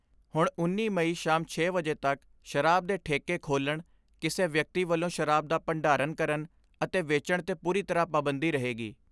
ਹੁਣ ਉੱਨੀ ਮਈ ਸ਼ਾਮ ਛੇ ਵਜੇ ਤੱਕ ਸ਼ਰਾਬ ਦੇ ਠੇਕੇ ਖੋਲਣ ਕਿਸੇ ਵਿਅਕਤੀ ਵੱਲੋਂ ਸ਼ਰਾਬ ਦਾ ਭੰਡਾਰਨ ਕਰਨ ਅਤੇ ਵੇਚਣ ਤੇ ਪੂਰੀ ਤਰ੍ਹਾਂ ਪਾਬੰਦੀ ਰਹੇਗੀ।